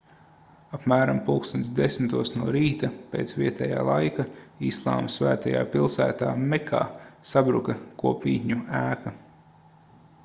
apmēram plkst 10:00 no rīta pēc vietājā laika islāma svētajā pilsētā mekā sabruka kopmītņu ēka